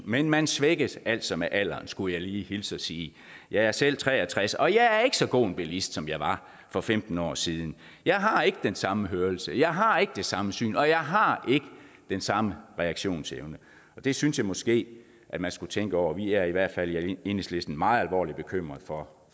men man svækkes altså med alderen skulle jeg lige hilse og sige jeg er selv tre og tres år og jeg er ikke så god en bilist som jeg var for femten år siden jeg har ikke den samme hørelse jeg har ikke det samme syn og jeg har ikke den samme reaktionsevne det synes jeg måske man skulle tænke over vi er i hvert fald i enhedslisten meget alvorligt bekymrede for